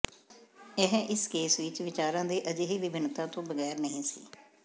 ਇਹ ਇਸ ਕੇਸ ਵਿਚ ਵਿਚਾਰਾਂ ਦੀ ਅਜਿਹੀ ਵਿਭਿੰਨਤਾ ਤੋਂ ਬਗੈਰ ਨਹੀਂ ਸੀ